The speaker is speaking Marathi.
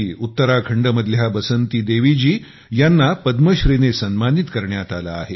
उत्तराखंडमधल्या बसंती देवी जी यांना पद्मश्री ने सन्मानित करण्यात आले आहे